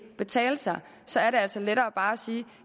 betale sig så er det altså lettere bare at sige